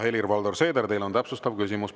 Helir-Valdor Seeder, teil on täpsustav küsimus.